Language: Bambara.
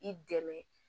I dɛmɛ